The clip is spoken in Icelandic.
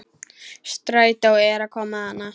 Strætó er að koma þarna!